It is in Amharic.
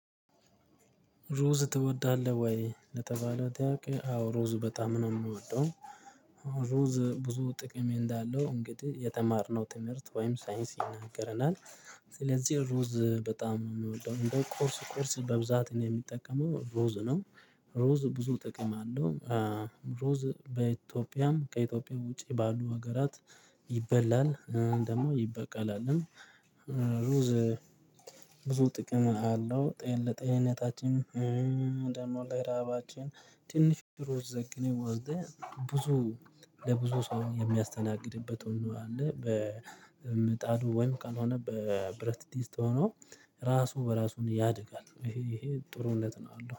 ሩዝ ትወዳለህ ወይ? ለተባለ ጥያቄ አዎ ሩዝ በጣም ነው የምወደው። ሩዝ ብዙ ጥቅም እንዳለው እንግዲህ የተማርነው ትምህርት ወይም ሳይንስ ይናገረናል። ስለዚህ ሩዝ በጣም ነው የምወደው እንደው ቁርስ ቁርስ በብዛትም የምጠቀመው ሩዝ ነው። ሩዝ ብዙ ጥቅም አለው። ሩዝ በኢትዮጵያም ከኢትዮጵያም ውጪ ባሉ ሀገራት ይበላል ደግሞ ይበቃላልም። ሩዝ ብዙ ጥቅም አለው ጤን ለጤንታችን። ደሞ ለረሃባችን። ትንሽ ሩዝ ዘግነን ወስደን ብዙ ለብዙ ሰው የሚያስተናግድበት ሁሉ አለ በምጣዱ ወይም ካልሆነ በብረት ድስት ሆኖ። ራሱ በራሱን ያድጋል ይሄ ጥሩነት ነው አለው